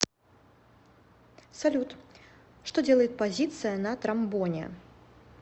салют что делает позиция на тромбоне